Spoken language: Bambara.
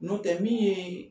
N'o tɛ min ye